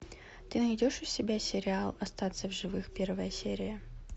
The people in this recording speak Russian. ты найдешь у себя сериал остаться в живых первая серия